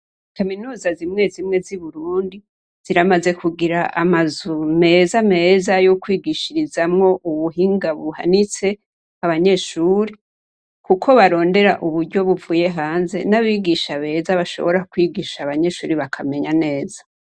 Kaminuza zimwe zimwe zi Burundi, ziramaze kugira amazu meza meza yokwigishirizamwo ubuhinga buhanitse abanyeshure, kuko barondera uburyo buvuye hanze n'abigisha beza, bashobora kwigisha abanyeshure bakamenya neza.